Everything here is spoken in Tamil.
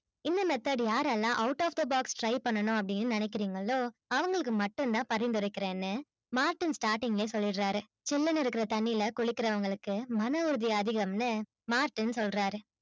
இந்த method யாரெல்லாம் out of the box try பண்ணனும் அப்டினு நினைக்கிறிங்களோ அவங்களுக்கு மட்டும்தான் பரிந்துரைக்கிறேன்னு மார்டின் starting லே சொல்லிறாரு. சில்லுனு இருக்குற தண்ணில குளிக்கிறவங்களுக்கு மன உறுதி அதிகம் னு மார்டின் சொல்றாரு.